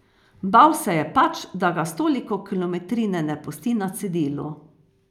Bal se je pač, da ga s toliko kilometrine ne pusti na cedilu.